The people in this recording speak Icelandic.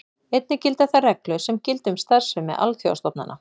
Einnig þær réttarreglur sem gilda um starfsemi alþjóðastofnana.